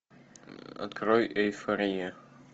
открой эйфория